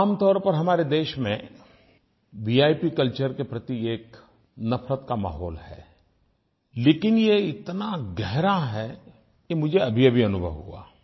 आमतौर पर हमारे देश में विप कल्चर के प्रति एक नफ़रत का माहौल है लेकिन ये इतना गहरा है ये मुझे अभीअभी अनुभव हुआ